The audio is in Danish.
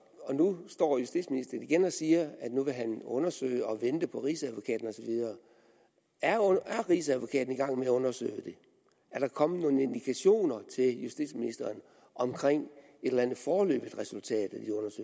og nu står justitsministeren igen og siger at han vil undersøge det og vente på rigsadvokaten og så videre er rigsadvokaten i gang med at undersøge det er der kommet nogen indikationer til justitsministeren om et eller andet foreløbigt resultat